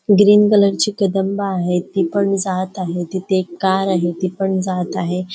Green colour ची कदंबा आहे ती पण जात आहे तिथे एक कार आहे ती पण जात आहे.